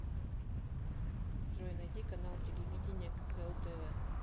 джой найди канал телевидения кхл тв